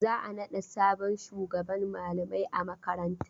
Za a naɗa sabon shugaban malamai a makaranta.